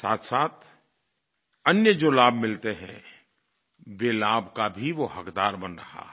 साथसाथ अन्य जो लाभ मिलते हैं वे लाभ का भी वो हक़दार बन रहा है